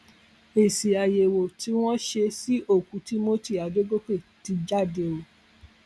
èsì àyẹwò tí wọn ṣe sí òkú timothy adọgọkẹ ti jáde o